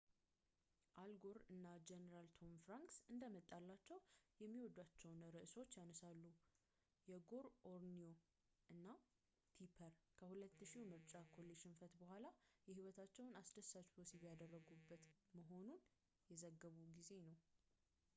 አል ጎር እና ጀነራል ቶሚ ፍራንክስ እንደመጣላቸው የሚወዷቸውን አርዕስቶች ያነሳሉ የጎር ኦኒየኑ እና ቲፐር ከ2000ው የምርጫ ኮሌጅ ሽንፈት ቡኃላ የህይወታቸውን አስደሳች ወሲብ እያረጉ መሆኑን የዘገቡ ጊዜ ነው።